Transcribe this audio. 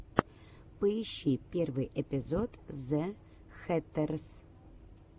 поищи первый эпизод зэ хэттерс